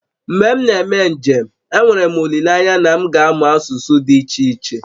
Mgbe m na-eme njem, enwere m olileanya na m ga-amụ asụsụ dị iche iche